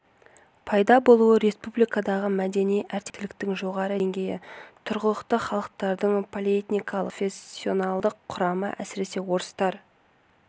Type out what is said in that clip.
пайда болуы республикадағы мәдени әртектіліктің жоғары деңгейі тұрғылықты халықтардың полиэтникалық және поликонфессионалдық құрамы әсіресе орыстар